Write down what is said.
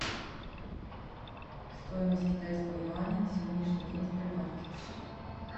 стоимость китайского юаня на сегодняшний день в сбербанке